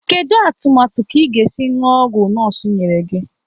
Kedu atụmatụ ka ị ga-esi ñụọ ọgwụ nọọsụ nyere gị?